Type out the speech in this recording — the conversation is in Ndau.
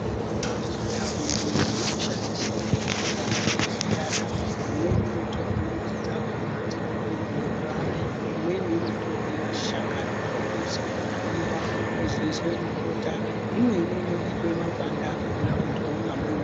Mitombo yechiNdau yedu inoshandiswa ngenjira dzakasiyana. Imweni inotorwa midzi dzakhona dzonyikwe mumvura, imweni inotorwe mashakani oomeswa, otwiwa, ozoiswe mubota, imweni inobikwe makwande akhona munhu omwa mvura.